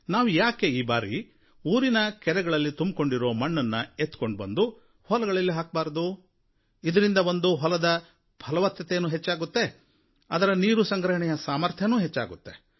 ನಾವು ಯಾಕೆ ಈ ಬಾರಿ ಊರಿನ ಕೆರೆಗಳಲ್ಲಿ ತುಂಬಿಕೊಂಡಿರೋ ಮಣ್ಣನ್ನು ಎತ್ತಿಕೊಂಡು ಬಂದು ಹೊಲಗಳಲ್ಲಿ ಹಾಕಬಾರದು ಇದರಿಂದ ಒಂದು ಹೊಲದ ಫಲವತ್ತತೆಯೂ ಹೆಚ್ಚಾಗುತ್ತೆ ಅದರ ನೀರು ಸಂಗ್ರಹಣೆಯ ಸಾಮರ್ಥ್ಯನೂ ಹೆಚ್ಚಾಗುತ್ತೆ